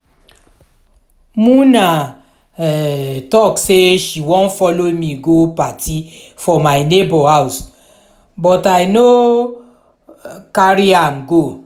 muna um talk say she wan follow me go party for my neighbour house but i no carry am go